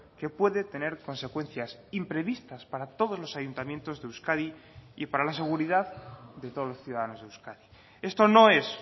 que puede tener consecuencias imprevistas para todos los ayuntamientos de euskadi y para la seguridad de todos los ciudadanos de euskadi esto no es